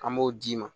An b'o d'i ma